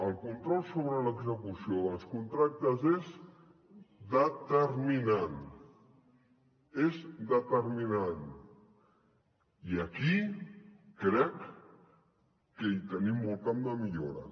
el control sobre l’execució dels contractes és determinant és determinant i aquí crec que hi tenim molt camp de millora